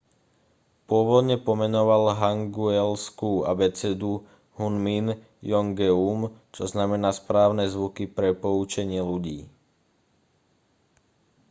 pôvodne pomenoval hangeulskú abecedu hunmin jeongeum čo znamená správne zvuky pre poučenie ľudí